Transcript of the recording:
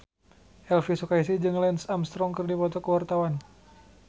Elvi Sukaesih jeung Lance Armstrong keur dipoto ku wartawan